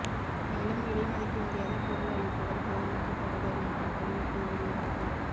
மேலும் விலை மதிக்க முடியாத பொருள் அளிப்பவர் கவுரவிக்கப்படுவர் என்றும் அறிவிப்பு வெளியானது